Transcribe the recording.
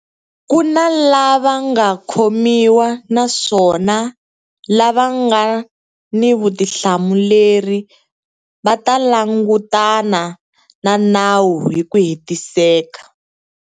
Ku na lava nga khomiwa naswona lava nga ni vutihlamuleri va ta langutana na nawu hi ku hetiseka.